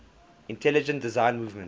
intelligent design movement